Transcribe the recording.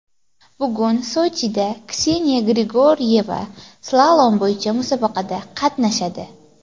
Bugun Sochida Kseniya Grigoryeva slalom bo‘yicha musobaqada qatnashadi.